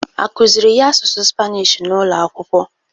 Akụzịrị ys asụsụ spanish n'ụlọakwụkwọ?